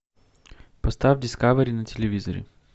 поставь дискавери на телевизоре